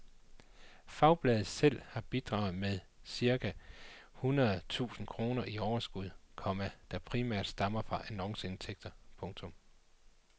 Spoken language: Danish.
Fagbladet selv har bidraget med cirka hundred tusind kroner i overskud, komma der primært stammer fra annonceindtægter. punktum